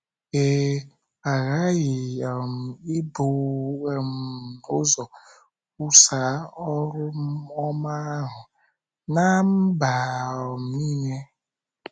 Ee, “ a ghaghị um ibu um ụzọ kwusaa oru ọma ahụ ná mba um nile. ”